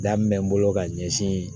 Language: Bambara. Daminɛn bolo ka ɲɛsin